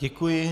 Děkuji.